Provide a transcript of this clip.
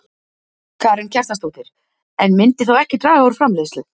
Karen Kjartansdóttir: En myndi þá ekki draga úr framleiðslu?